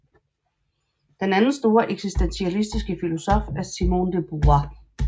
Den anden store eksistentialistiske filosof er Simone de Beauvoir